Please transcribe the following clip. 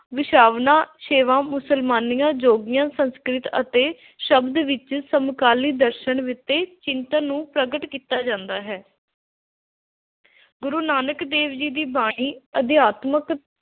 ਵੈਸ਼ਨਵਾਂ, ਸ਼ੈਵਾਂ, ਮੁਸਲਮਾਨੀਆਂ, ਜੋਗੀਆਂ, ਸੰਸਕ੍ਰਿਤ ਅਤੇ ਸ਼ਬਦ ਵਿੱਚ ਸਮਕਾਲੀ ਦਰਸ਼ਨ ਅਤੇ ਚਿੰਤਨ ਨੂੰ ਪ੍ਰਗਟ ਕੀਤਾ ਜਾਂਦਾ ਹੈ। ਗੁਰੂ ਨਾਨਕ ਦੇਵ ਜੀ ਦੀ ਬਾਣੀ ਅਧਿਆਤਮਿਕ